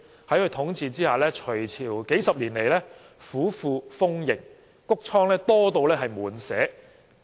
在他的統治下，隋朝數十年來府庫豐盈，穀倉多至滿瀉。